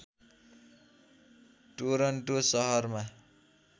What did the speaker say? Toronto सहरमा